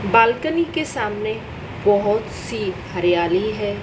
Balcony के सामने बहोत सी हरियाली है।